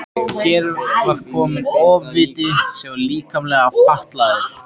Hér var kominn ofviti sem var líkamlega fatlaður.